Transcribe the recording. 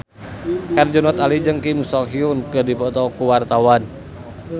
Herjunot Ali jeung Kim So Hyun keur dipoto ku wartawan